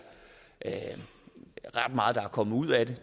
ret meget der er kommet ud af det